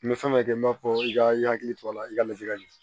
N bɛ fɛn dɔ kɛ n b'a fɔ i ka i hakili to a la i ka ladili